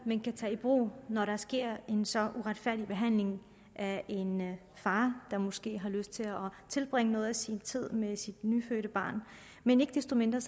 man kan tage i brug når der sker en så uretfærdig behandling af en far der måske har lyst til at tilbringe noget af sin tid med sit nyfødte barn men ikke desto mindre